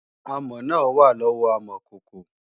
Amọ̀ náà wà lọ́wọ́ amọ̀kòkò